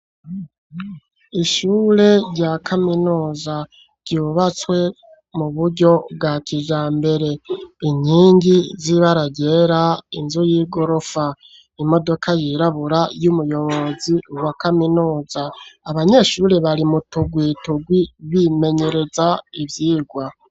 Ishure rya kaminuza, ryubatswe mu buryo bwa kijambere; inkingi z'ibara ryera, inzu y'igorofa, imodoka yirabura, y'umuyobozi wa kaminuza; abanyeshure, bari mu tugwi tugwi, bimenyereza ivyigwa.